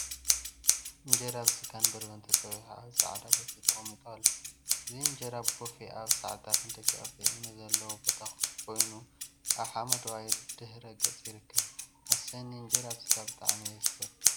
እንጀራ ብስጋን በርበረንተፀቢሑ አብ ፃዕዳ ቦፌ ተቀሚጡ አሎ፡፡ እዚ እንጀራ ብቦፌ አብ ሳዕሪታትን ደቀቅቲ እምኒን ዘለውዎ ቦታ ኮይኑ አብ ሓመደዋይ ድሕረ ገፅ ይርከብ፡፡ አሰኒ! እንጀራ ብስጋ ብጣዕሚ እየ ዝፈቱ፡፡